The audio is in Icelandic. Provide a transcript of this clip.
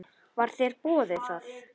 Var þér boðið það?